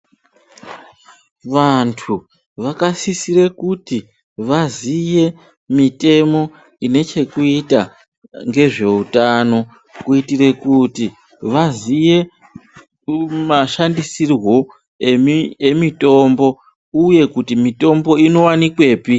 Vantu vakasisire kuti vaziye mitemo ine chekuita ngezveutano kuitire kuti vaziye mashandisirwo emitombo uye kuti mitombo inowanikwepi.